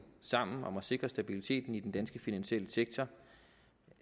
sammen om at sikre stabiliteten i den danske finansielle sektor